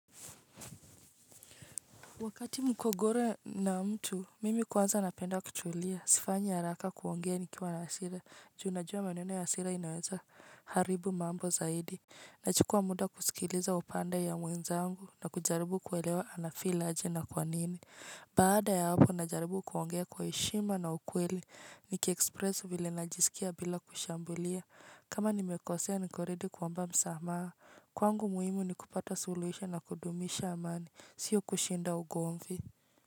Wakati migogoro na mtu, mimi kwanza napenda kutulia sipendi kuongea nikiwa na hasira. Ju najua maneno ya hasira inaweza haribu mambo zaidi. Nachukua muda kusikiliza upande ya mwenzangu na kujaribu kuwelewa anahisi aje na kwa nini. Baada ya hapo najaribu kuongea kwa heshima na ukweli. Nikionyesha vile najisikia bila kushambulia. Kama nimekosea niko tayari kuomba msamaha. Kwangu muhimu ni kupata suluhisho na kudumisha amani. Sio kushinda ugomvi.